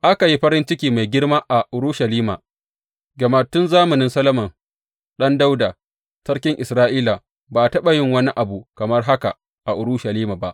Aka yi farin ciki mai girma a Urushalima, gama tun zamanin Solomon ɗan Dawuda sarkin Isra’ila, ba a taɓa yin wani abu kamar haka a Urushalima ba.